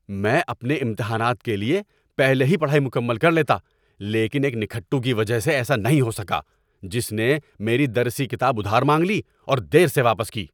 میں اپنے امتحانات کے لیے پہلے ہی پڑھائی مکمل کر لیتا لیکن ایک نکھٹو کی وجہ سے ایسا نہیں ہوسکا جس نے میری درسی کتاب ادھار مانگ لی اور دیر سے واپس کی۔